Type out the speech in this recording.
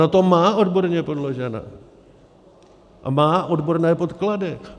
Ona to má odborně podložené a má odborné podklady!